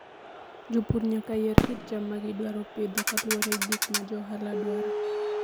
Jopur nyaka yier kit cham ma gidwaro pidho kaluwore gi gik ma jo ohala dwaro.